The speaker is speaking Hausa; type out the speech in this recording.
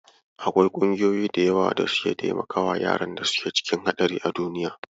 Akwai ƙungiyoyi da yawa da suke taimakawa yaran da suke cikin haɗari a duniya.